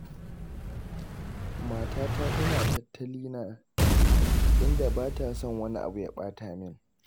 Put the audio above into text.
Matata tana tattalina, inda ba ta son wani abu ya ɓata min.